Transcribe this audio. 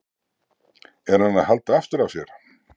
Er hann að halda aftur af sér?